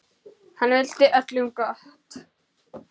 Hann vildi öllum gott.